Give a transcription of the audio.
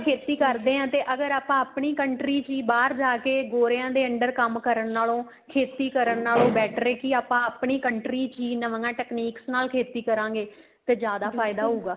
ਖੇਤੀ ਕਰਦੇ ਹਾਂ ਤੇ ਅਗਰ ਆਪਾਂ ਆਪਣੀ country ਚ ਹੀ ਬਹਾਰ ਜਾਕੇ ਗੋਰਿਆ ਦੇ under ਕੰਮ ਕਰਨ ਨਾਲੋਂ ਖੇਤੀ ਕਰਨ ਨਾਲੋਂ better ਏ ਕੀ ਆਪਾਂ ਆਪਣੀ country ਚ ਹੀ ਨਵੀਆਂ techniques ਨਾਲ ਖੇਤੀ ਕਰਾਗੇ ਤੇ ਜਿਆਦਾ ਫਾਇਦਾ ਹਉਗਾ